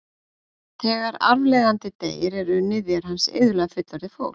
Þegar arfleifandi deyr eru niðjar hans iðulega fullorðið fólk.